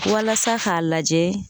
Walasa k'a lajɛ